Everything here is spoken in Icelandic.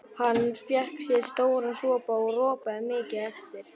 Hann fékk sér stóran sopa og ropaði mikið á eftir.